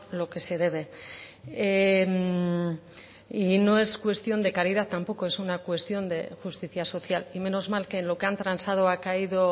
lo que se debe y no es cuestión de caridad tampoco es una cuestión de justicia social y menos mal que en lo que han transado ha caído